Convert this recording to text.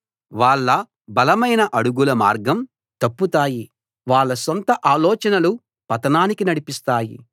వాళ్ళ బలమైన అడుగులు మార్గం తప్పుతాయి వాళ్ళ సొంత ఆలోచనలు పతనానికి నడిపిస్తాయి